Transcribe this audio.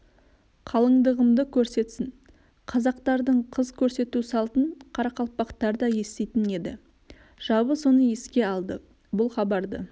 қалыңдығымды көрсетсін қазақтардың қыз көрсету салтын қарақалпақтар да еститін еді жабы соны еске алды бұл хабарды